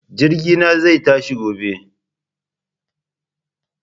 Jirgi na zai tashi gobe